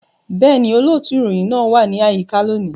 Bẹ́ẹ̀ni, olóòtú ìròyìn náà wà ní àyíká lónìí